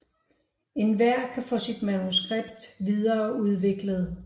Enhver kan få sit manuskript videreudviklet